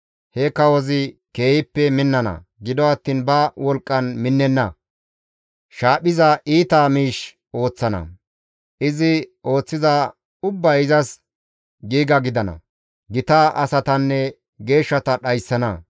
He kawozi keehippe minnana; gido attiin ba wolqqan minnenna; shaaphiza iita miish ooththana; izi ooththiza ubbay izas giiga gidana; gita asatanne geeshshata dhayssana.